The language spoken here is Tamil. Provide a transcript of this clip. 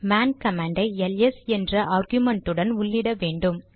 மேன் கமாண்டை எல்எஸ் என்ற ஆர்குமென்ட்டுடன் உள்ளிட வேண்டும்